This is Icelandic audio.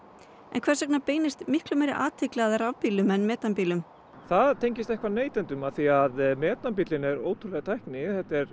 hvers vegna beinist miklu meiri athygli að rafbílum en metanbílum það tengist eitthvað neytendum af því að metanbílarnir eru ótrúleg tækni